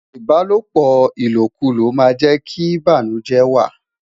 Ibalopo ilokulo ma je ki banujẹ wa